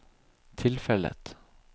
tilfellet